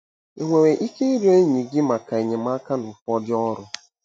Ị nwere ike ịrịọ enyi gị maka enyemaka na ụfọdụ ọrụ?